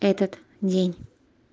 этот день